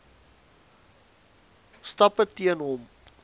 stappe teen hom